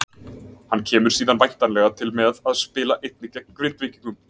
Hann kemur síðan væntanlega til með að spila einnig með Grindvíkingum.